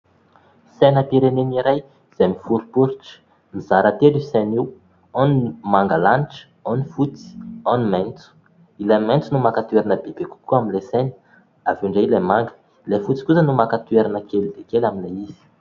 Sainam-pirenena iray izay miforiporitra. Mizara telo io saina io, ao ny manga lanitra, ao ny fotsy, ao ny maitso. Ilay maitso no maka toerana bebe kokoa amin'ilay saina, avy eo indray ilay manga ; ilay fotsy kosa no maka toerana kely dia kely amin'ilay izy.